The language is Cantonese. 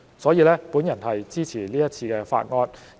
所以，我支持這項法案。